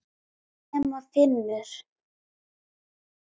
Nema Finnur.